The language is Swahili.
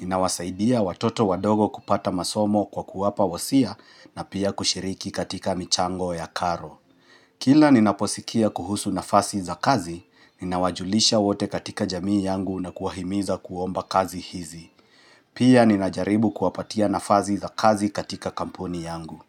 Ninawasaidia watoto wadogo kupata masomo kwa kuwapa wasia na pia kushiriki katika michango ya karo. Kila ninaposikia kuhusu nafasi za kazi, ninawajulisha wote katika jamii yangu na kuwahimiza kuomba kazi hizi. Pia ninajaribu kuwapatia nafasi za kazi katika kampuni yangu.